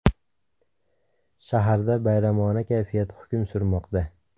Shaharda bayramona kayfiyat hukm surmoqda.